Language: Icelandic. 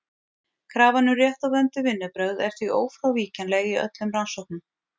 Krafan um rétt og vönduð vinnubrögð er því ófrávíkjanleg í öllum rannsóknum.